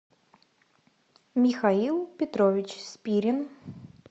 михаил петрович спирин